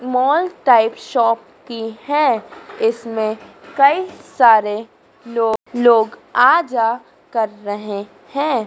Mall type shop की है इसमें कई सारे लोग लोग आ जा कर रहे हैं।